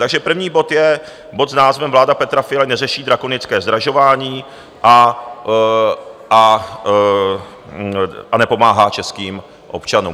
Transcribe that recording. Takže první bod je bod s názvem Vláda Petra Fialy neřeší drakonické zdražování a nepomáhá českým občanům.